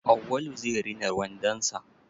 Awwalu zai rina wandon sa.